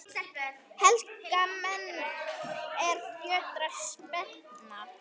Helga menn, er fjötrar spenna